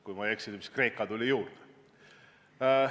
Kui ma ei eksi, siis Kreeka tuli juurde.